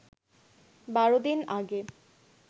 ১২ দিন আগে